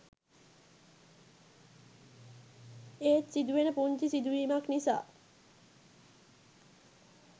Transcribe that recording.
ඒත් සිදුවෙන පුංචි සිදුවීමක් නිසා